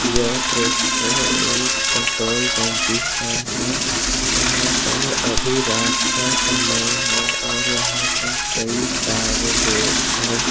यह दृश्य एक पेट्रोल टंकी का है जहां पर अभी रात का समय है और यहां पर कई सारे लोग हैं।